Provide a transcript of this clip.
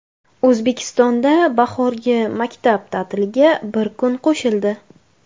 O‘zbekistonda bahorgi maktab ta’tiliga bir kun qo‘shildi.